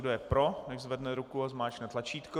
Kdo je pro, nechť zvedne ruku a zmáčkne tlačítko.